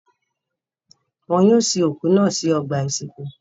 Wọn yóò sin òkú náà sí ọgbà-ìsìnkú.